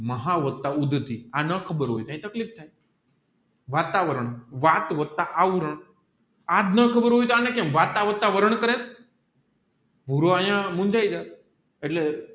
મહાવતતા ઉંઘતી આ ના ખબર હોય તોહ ત્યાં તકલીફ થાય વાત વારં વાત વત્તા આવરણ આજ ના ખબર હોય તોહ વત્તા વાત વરણ કરે એટલે